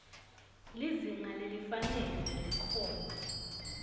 lizinga lelifanele nelikhono